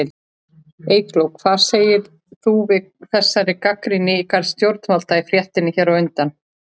Eygló, hvað segir þú við þessari gagnrýni í garð stjórnvalda í fréttinni hér á undan?